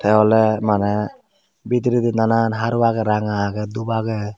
iyen ole mane bidiredi nanan haru agey ranga agey dhup agey.